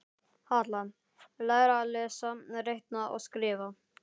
Halla: Læra að lesa, reikna og skrifa.